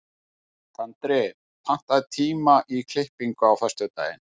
Tandri, pantaðu tíma í klippingu á föstudaginn.